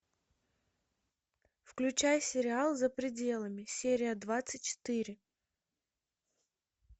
включай сериал за пределами серия двадцать четыре